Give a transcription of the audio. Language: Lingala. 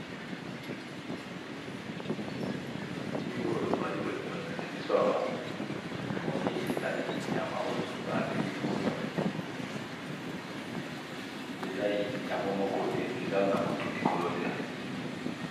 Elili oyo bazo lakisa biso awa namoni ezali nyama oyo babengaka punda eza yango moko